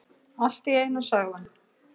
Allt í einu sagði hann: